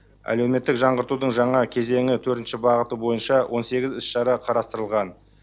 әлеуметтік жаңғыртудың жаңа кезеңі төртінші бағыты бойынша он сегіз іс шара қарастырылған